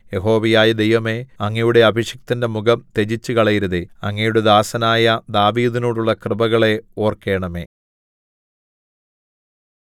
യഹോവയായ ദൈവമേ അങ്ങയുടെ അഭിഷിക്തന്റെ മുഖം ത്യജിച്ചുകളയരുതേ അങ്ങയുടെ ദാസനായ ദാവീദിനോടുള്ള കൃപകളെ ഓർക്കേണമേ